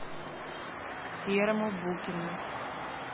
серому букину